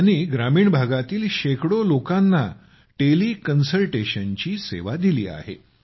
त्यांनी ग्रामीण भागातील शेकडो लोकांना त्यांनी टेलिकन्सल्टेशनची सेवा दिली आहे